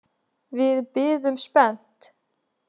Við biðum spennt.